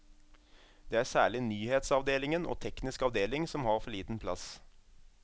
Det er særlig nyhetsavdelingen og teknisk avdeling som har for liten plass.